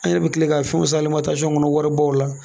An yɛrɛ bɛ tila ka fɛnw san kɔnɔ waribaw la